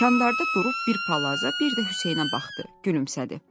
Kandarda durub bir palaza, bir də Hüseynə baxdı, gülümsədi.